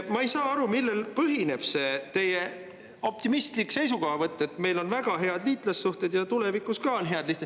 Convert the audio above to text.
Ma ei saa aru, millel põhineb see teie optimistlik seisukohavõtt, et meil on väga head liitlassuhted ja tulevikus ka on head.